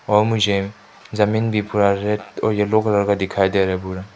और मुझे जमीन भी पूरा रेड और येलो कलर का दिखाई दे रहा है पूरा।